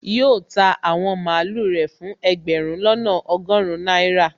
Yóò ta àwọn màlúù rẹ̀ fún ẹgbẹ̀rún lọ́nà ọgọrun náírà